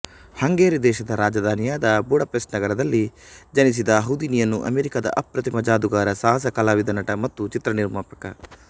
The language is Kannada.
ಹಂಗರಿ ದೇಶದ ರಾಜಧಾನಿಯಾದ ಬುಡಾಪೆಸ್ಟ್ ನಗರದಲ್ಲಿ ಜನಿಸಿದ ಹೌದಿನಿಯನ್ನು ಅಮೇರಿಕದ ಅಪ್ರತಿಮ ಜಾದೂಗಾರಸಾಹಸ ಕಲಾವಿದನಟ ಮತ್ತು ಚಿತ್ರ ನಿರ್ಮಾಪಕ